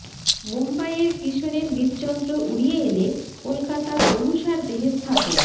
মুম্বাইয়ের কিশোরের হৃদযন্ত্র উড়িয়ে এনে কলকাতার অনুষার দেহে স্থাপন